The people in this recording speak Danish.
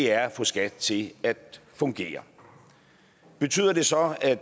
er at få skat til at fungere betyder det så at